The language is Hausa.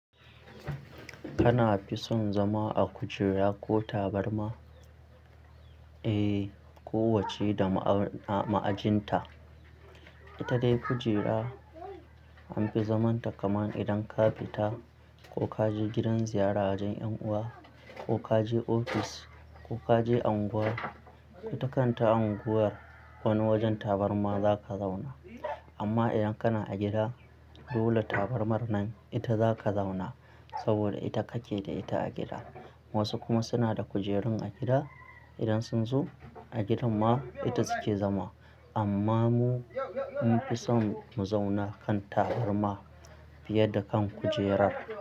Kana fi son zama a kujera ko tabarma? Eh, ko wacce da ma au, ma'ajinta. Ita dai kujera an fi zamanta kaman idan ka fita ko ka je gidan ziyara wajen 'yan uwa ko ka je ofis ko ka je unguwar. Ita kan ta unguwar wani wajen tabarma za ka zauna. Amma idan kana a gida, dole tabarmar nan ita za ka zauna saboda ita kake da ita a gida. Wasu kuma suna da kujerun a gida. Idan sun zo a gidan ma ita suke zama. Amma mu an fi son mu zauna kan tabarma fiye da kan kujerar.